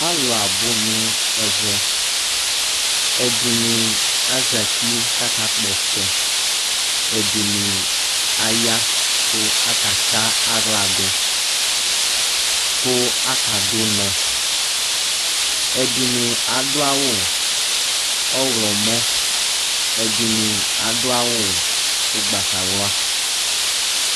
Alu abo no ɛvɛ, ɛdene azati ko aka gbɔ ɔtsɛ, ɛdene aya ko akatse ahla do ko akado unɔ ɛdene ado awu ɔwlɔmɔ, ɛdene ado awu ugbatawla